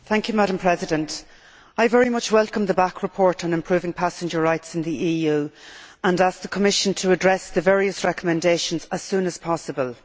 Madam President, I very much welcome the Bach report on improving passenger rights in the EU and ask the Commission to address the various recommendations as soon as possible.